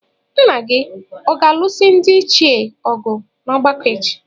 Nna gị ọ̀ ga-alụso ndị ichie ọgụ n’ọgbakọ echi?